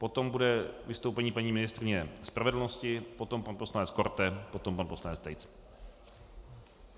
Potom bude vystoupení paní ministryně spravedlnosti, potom pan poslanec Korte, potom pan poslanec Tejc.